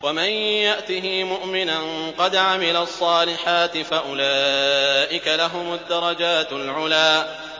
وَمَن يَأْتِهِ مُؤْمِنًا قَدْ عَمِلَ الصَّالِحَاتِ فَأُولَٰئِكَ لَهُمُ الدَّرَجَاتُ الْعُلَىٰ